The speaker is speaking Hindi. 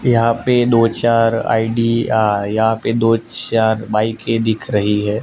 यहां पे दो चार आई_डी_आर यहां पे दो चार बाइके दिख रही है।